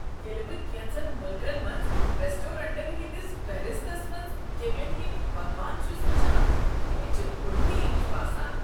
ییٚلہ بہٕ کینژن ملکن منٛز ریسٹورینٹن ہنٛدس فہرستس منٛز کیٚمین ہٕندۍ پکوان چھس وٕچھنان، مےٚ چھ الٹی ہش باسان۔